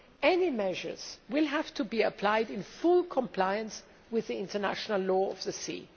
Any measures will have to be applied in full compliance with the International Law of the Sea.